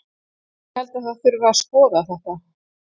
Ég held að það þurfi að skoða þetta.